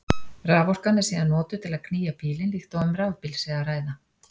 Raforkan er síðan notuð til að knýja bílinn líkt og um rafbíl sé að ræða.